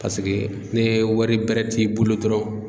Paseke ne wari bɛrɛ t'i bolo dɔrɔn